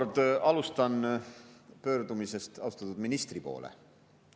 Ma alustan taas pöördumisest austatud ministri poole.